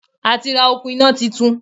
A ti ra òkun iná titun